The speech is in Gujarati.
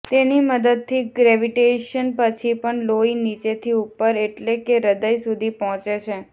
તેની મદદથી ગ્રેવિટેશન પછી પણ લોહી નીચેથી ઉપર એટલે કે હૃદય સુધી પહોંચે છે